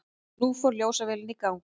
Nú fór ljósavélin í gang.